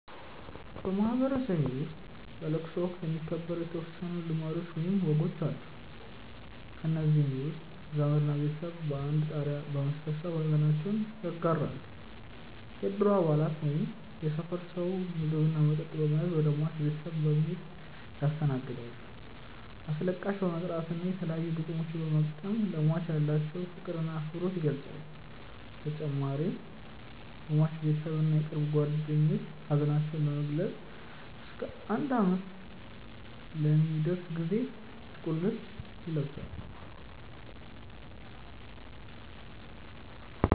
በማህበረሰቤ ውስጥ በለቅሶ ወቅት የሚከበሩ የተወሰኑ ልማዶች ወይም ወጎች አሉ። ከእነዚህም ውስጥ ዘመድ እና ቤተሰብ በአንድ ጣሪያ በመሰብሰብ ሐዘናቸውን ይጋራሉ፣ የእድሩ አባላት ወይም የሰፈር ሰው ምግብ እና መጠጥ በመያዝ ወደ ሟች ቤተሰብ በመሔድ ያስተናግዳሉ፣ አስለቃሽ በመጥራት እና የተለያዩ ግጥሞችን በመግጠም ለሟች ያላቸውን ፍቅር እና አክብሮት ይገልፃሉ በተጨማሪም የሟች ቤተሰብ እና የቅርብ ጓደኞቹ ሀዘናቸውን ለመግለፅ እስከ አንድ አመት ለሚደርስ ጊዜ ጥቁር ልብስ ይለብሳሉ።